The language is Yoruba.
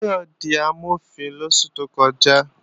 Táyọ̀ di Amọ̀fin lóṣù tó kọjá